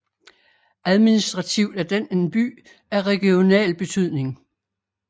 Administrativt er den en by af regional betydning